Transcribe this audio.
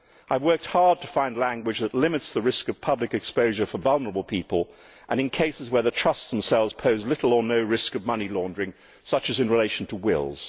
I have worked hard to find language that limits the risk of public exposure for vulnerable people and in cases where the trusts themselves pose little or no risk of money laundering, such as in relation to wills.